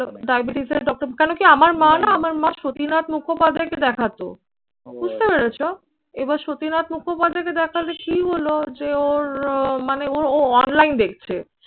diabetes এর doctor কেন কি আমার মা না আমার মা সতীনাথ মুখোপাধ্যায়কে দেখাতো। বুঝতে পেরেছো? এবার সতীনাথ মুখোপাধ্যায়কে দেখালে কি হলো যে ওর ও মানে ও ও online দেখছে